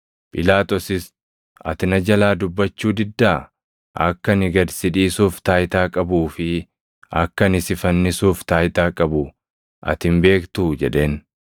Phiilaaxoosis, “Ati na jalaa dubbachuu diddaa? Akka ani gad si dhiisuuf taayitaa qabuu fi akka ani si fannisuuf taayitaa qabu ati hin beektuu?” jedheen.